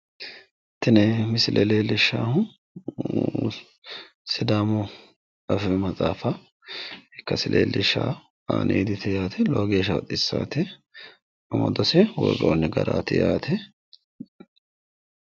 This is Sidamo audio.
tini misile leellishshaahu sidaamu afii maxaafa ikkase leellishshanno aaniiditi yaate lowo geeshsha baxissaate amadose woroonni garaati yaate.